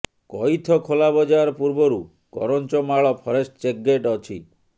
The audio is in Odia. କଇଥଖୋଲା ବଜାର ପୂର୍ବରୁ କରଞ୍ଜମାଳ ଫରେଷ୍ଟ୍ ଚେକ୍ ଗେଟ୍ ଅଛି